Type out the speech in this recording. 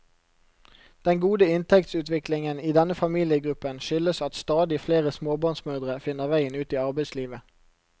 Den gode inntektsutviklingen i denne familiegruppen skyldes at stadig flere småbarnsmødre finner veien ut i arbeidslivet.